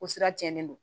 O sira cɛnnen don